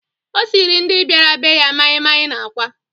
O siiri ndị bịara be ya maịmaị na àkwá.